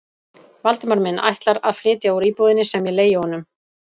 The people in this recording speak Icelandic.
Valdimar minn ætlar að flytja úr íbúðinni sem ég leigi honum?